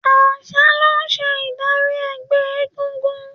Àṣà ló ń ṣe ìdarí ẹgbẹ́ égúngún.